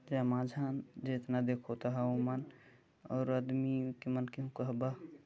एमा छन जितना देखो तह उमन और अदमी के मन के ओ कहबा--